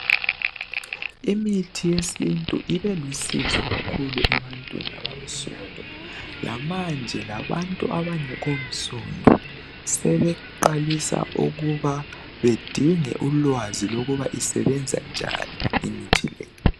Imithi yesintu ibilusizo kakhuku ebantwini abansundu lamanye abantu abangekho nsundu sebeqalisa ukuba bedinge ulwazi lokuba isebenza njani imithi le.